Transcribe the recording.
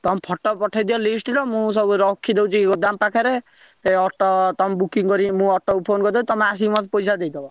ତମେ photo ପଠେଇ ଦିଅ list ର ମୁଁ ସବୁ ରଖିଦଉଛି ଗୋଦାମ ପାଖରେ ହେ auto ତମେ booking କରି ମୁଁ auto କୁ phone କରିଦଉଛି ତମେ ଆସିକି ମତେ ପଇସା ଦେଇଦବ।